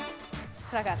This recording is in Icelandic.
krakkar